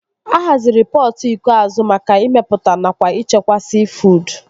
A haziri pọtụ iko azụ maka ịmepụta nakwa ịchekwa siifuud